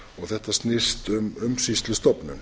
þetta snýst um umsýslustofnun